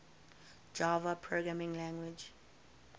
java programming language